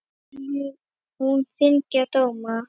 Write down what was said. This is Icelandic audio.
En vill hún þyngja dóma?